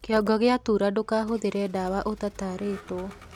kĩongo giatuura ndukahuthire dawa utataritwo